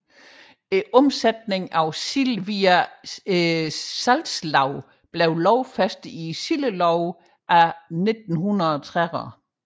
Omsætningen af sild via salgslag blev lovfæstet i Sildeloven af 1930